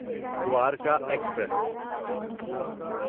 Dwarka express